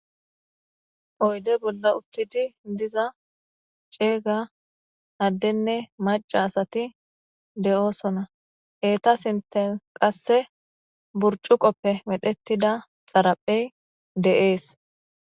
Oyde bolla uttidi diza ceega addenne maca asati de'oosona eeta sinten qasse burcu qoppe medhettida xaraphey de'ees.